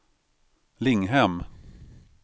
Linghem